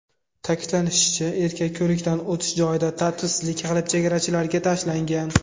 Ta’kidlanishicha, erkak ko‘rikdan o‘tish joyida tartibsizlik qilib, chegarachilarga tashlangan.